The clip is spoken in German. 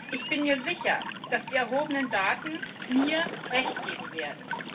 Ich bin mir sicher, dass die erhobenen Daten mir recht geben werden.